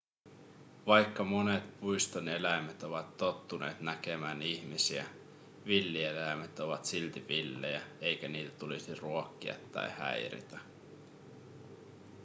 vaikka monet puiston eläimet ovat tottuneet näkemään ihmisiä villieläimet ovat silti villejä eikä niitä tulisi ruokkia tai häiritä